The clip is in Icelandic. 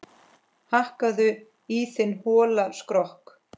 Hakkaðu í þinn hola skrokk